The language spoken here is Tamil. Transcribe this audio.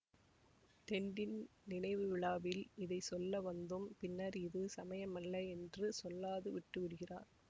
டென்டின் நினைவு விழாவில் இதை சொல்ல வந்தும் பின்னர் இது சமயமல்ல என்று சொல்லாது விட்டுவிடுகிறார்